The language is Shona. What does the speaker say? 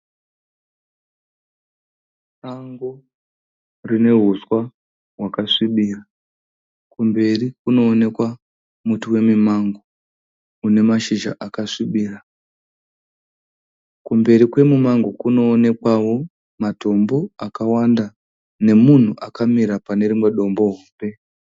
Sango rine uswa hwakasvibira. Kumberi kunooneka muti wemumango une mashizha akasvibira. Kumberi kwemumango kunoonekwawo matombo akawanda nemunhu akamira pane rimwe dombo hombe.